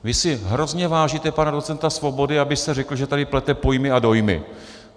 Vy si hrozně vážíte pana docenta Svobody, abyste řekl, že tady plete pojmy a dojmy.